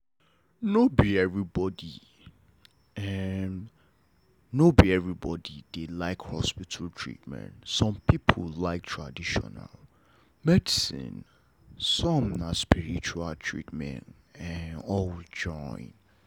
no bi everybody dey like hospital treatment some people like traditional medicine some na spiritual treatment all join